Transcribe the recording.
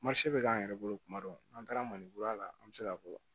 bɛ k'an yɛrɛ bolo kuma dɔ n'an taara maninkuru la an bɛ se k'a fɔ